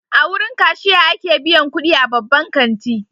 A wurin kashiya ake biyan kudi a babban kanti.